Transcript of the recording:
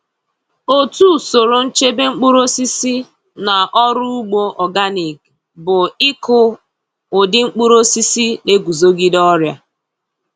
Otu usoro nchebe mkpụrụosisi na ọrụ ugbo organic bụ ịkụ ụdị mkpụrụosisi na-eguzogide ọrịa.